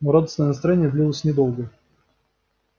но радостное настроение длилось недолго